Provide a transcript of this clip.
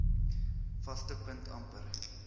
vaste punt amper